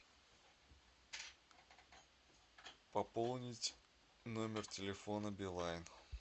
пополнить номер телефона билайн